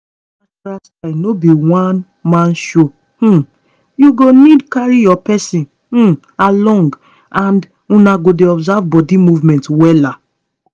this natural style no be one-man show um you go need carry your person um along and una go dey observe body movement wella